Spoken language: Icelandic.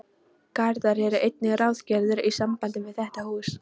Garðar eru einnig ráðgerðir í sambandi við þetta hús.